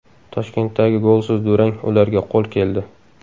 Toshkentdagi golsiz durang ularga qo‘l keldi.